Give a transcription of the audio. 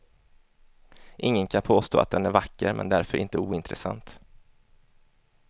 Ingen kan påstå att den är vacker men därför inte ointressant.